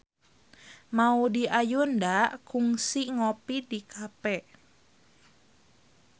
Maudy Ayunda kungsi ngopi di cafe